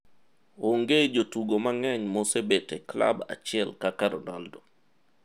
Onge jotugo mang'eny maosebet e klab achiel kaka Ronaldo.